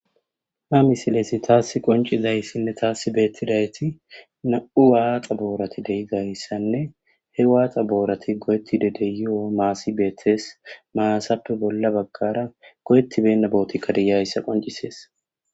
Ha misilesi taassi qoncizayssinne taassi beettidayti na'u waaxa boorati deyizayssanne he waaxa boorati go'ettide deyio maasi beettes maasappe bolla baggara goyettibenna bootikkadiyayssa qoncisees.